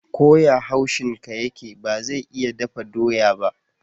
Ko ya haushin ka yake, ba zai iya dafa doya ba.